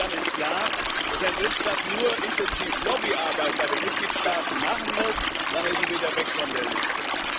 Denn dann ist klar, dass ein Drittstaat nur intensiv Lobbyarbeit bei den Mitgliedstaaten betreiben muss, dann ist er wieder weg von der Liste.